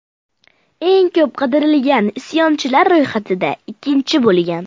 Eng ko‘p qidirilgan isyonchilar ro‘yxatida ikkinchi bo‘lgan.